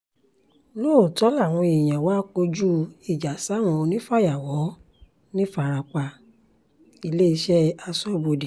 lóòótọ́ làwọn èèyàn wá kọjú ìjà sáwọn onífàyàwọ́ ńìfarapa-iléeṣẹ́ aṣọ́bodè